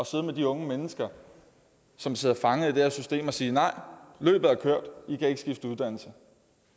sidde med de unge mennesker som sidder fanget i det her system og sige nej løbet er kørt i kan ikke skifte uddannelse